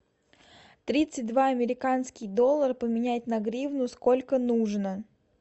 тридцать два американский доллар поменять на гривну сколько нужно